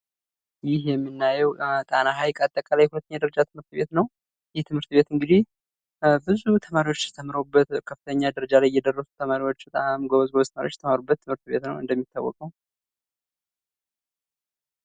ይህ የምናየው ጣና ሀይቅ አጠቃላይ ሁለተኛ ደረጃ ትምህርት ቤት ነው። ይህ ትምህርት ቤት እንግዲህ ብዙ ተማሪዎች ተምረውበት በጣም ከፍተኛ ደረጃ ላይ የደረሱ ተማሪዎች በጣም ጎበዝ ተማሪዎች የተማሩበት ትምህርት ቤት ነው እንደሚታወቀው።